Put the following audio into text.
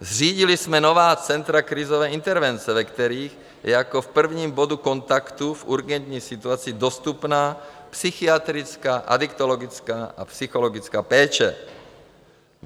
Zřídili jsme nová centra krizové intervence, ve kterých je jako v prvním bodu kontaktu v urgentní situaci dostupná psychiatrická, adiktologická a psychologická péče.